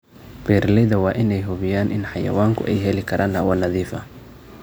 Beeralayda waa in ay hubiyaan in xayawaanku ay heli karaan hawo nadiif ah.